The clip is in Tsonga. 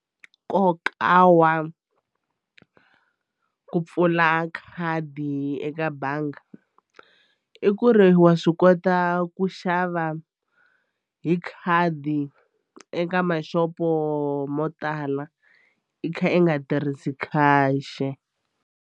Nkoka wa ku pfula khadi eka bangi i ku ri wa swi kota ku xava hi khadi eka maxopo mo tala i kha i nga tirhisi khale cash.